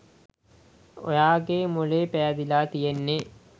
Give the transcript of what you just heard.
ඔයාගේ මොළේ පෑදිලා තියෙන්නෙ.